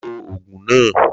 Lo Ògùn náà!